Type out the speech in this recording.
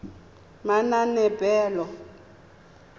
manaanepalo